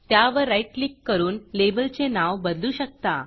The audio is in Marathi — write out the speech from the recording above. त्यावर राईट क्लिक करून लेबलचे नाव बदलू शकता